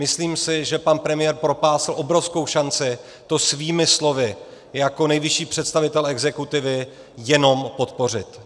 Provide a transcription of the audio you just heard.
Myslím si, že pan premiér propásl obrovskou šanci to svými slovy jako nejvyšší představitel exekutivy jenom podpořit.